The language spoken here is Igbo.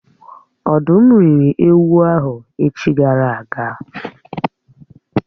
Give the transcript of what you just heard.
Ọ̀dụ́m rị́ri ewu ahụ echi gara aga